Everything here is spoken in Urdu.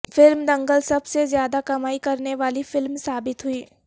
فلم دنگل سب سے زیادہ کمائی کرنے والی فلم ثابت ہوئی